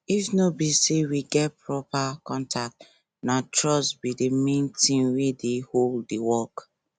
if no be say we get proper contract na trust be the main thing wey dey hold the work